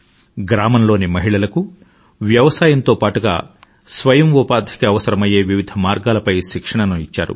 గ్రామంలోని మహిళలకు వ్యవసాయంతో పాటుగా స్వయంఉపాధికి అవసరమయ్యే వివిధ మార్గాలపై శిక్షణను ఇచ్చారు